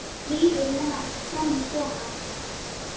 Líður með hann fram í stofuna.